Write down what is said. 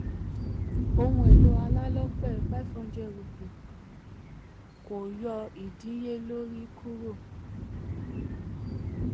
ohun èlò alálọ́pẹ̀: ₹500 — kò yọ kò yọ idínníyelori kúrò.